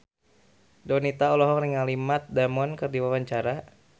Donita olohok ningali Matt Damon keur diwawancara